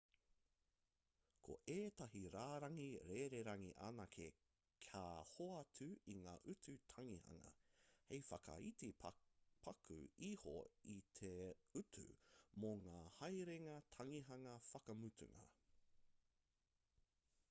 ko ētahi rārangi rererangi anake ka hoatu i ngā utu tangihanga hei whakaiti paku iho i te utu mō ngā haerenga tangihanga whakamutunga